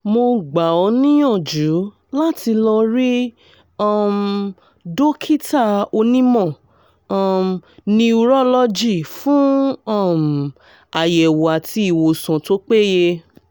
mo gbà ọ́ níyànjú láti lọ rí um dókítà onímọ̀ um niurọ́lọ́jì fún um àyẹ̀wò àti ìwòsàn tó péye